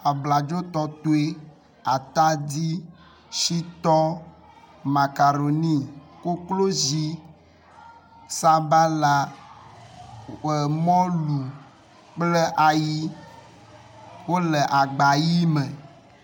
Abladotɔtɔe, atadi, shitɔ, makaɖoni, koklozi, sabala, e mɔlu kple ayi wo le agba ʋi me.